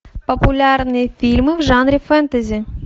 популярные фильмы в жанре фэнтези